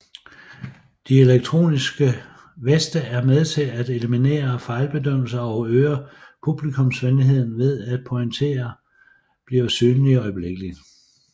De elektronisk veste er med til at eliminere fejlbedømmelser og øger publikumsvenligheden ved at pointene bliver synlige øjeblikkeligt